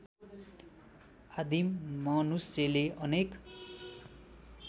आदिम मनुष्यले अनेक